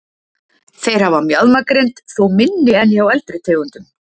Þeir hafa mjaðmagrind, þó minni en hjá eldri tegundum.